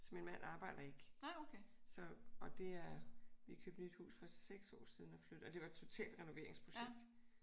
Så min mand arbejder ikke. Så og det er vi købte nyt hus for 6 år siden og det var totalt renoveringsprojekt